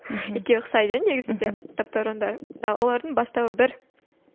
екеуі ұқсайды иә негізінде таптауырындар олардың бастауы бір